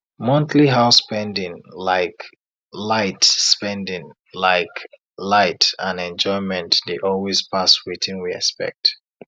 monthly house spending like light spending like light and enjoyment dey always pass wetin we expect